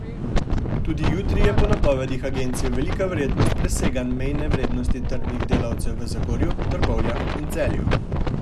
Tudi jutri je po napovedih agencije velika verjetnost preseganj mejne vrednosti trdnih delcev v Zagorju, Trbovljah in Celju.